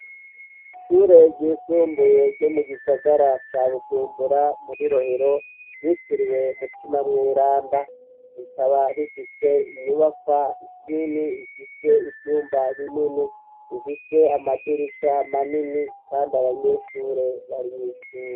Ishure ryisumbuye ryo mu gisagara ca bujumbura muri rohiro ryitiriwe mutima mw'iranda rikaba rifise inyubaka zinini ifise ivyumba binini imfise amadirisha manini, kandi abanyeshure barimyishure.